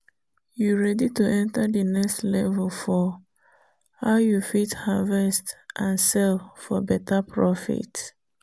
you ready to enter the next level for: how you fit harvest and sell for better profit?